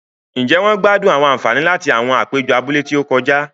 Njé wón gbádùn àwọn ànfàní láti awọn apejọ abúlé ti o kọjá?